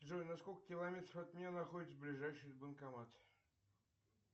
джой на сколько километров от меня находится ближайший банкомат